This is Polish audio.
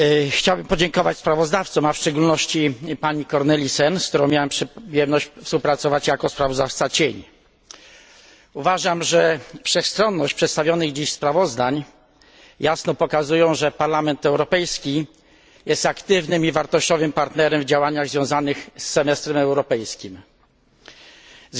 Chciałbym podziękować sprawozdawcom, a w szczególności pani Cornelissen, z którą miałem przyjemność współpracować jako sprawozdawca cień. Uważam, że wszechstronność przedstawionych dziś sprawozdań jasno pokazuje, że Parlament Europejski jest aktywnym i wartościowym partnerem w działaniach związanych z europejskim semestrem.